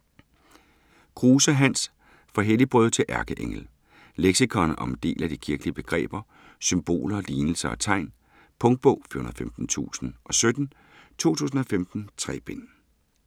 Kruse, Hans: Fra helligbrøde til ærkeengel Leksikon om en del af de kirkelige begreber, symboler, lignelser og tegn. Punktbog 415017 2015. 3 bind.